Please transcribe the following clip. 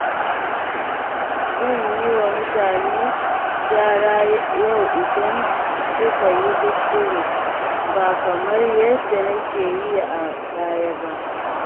Zan yi wa mutane gyara yau idan suka yi kuskure, ba kamar yadda nake yi a baya ba.